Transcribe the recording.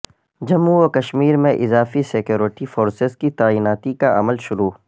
جموں و کشمیر میں اضافی سکیورٹی فورسز کی تعیناتی کا عمل شروع